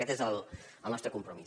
aquest és el nostre compromís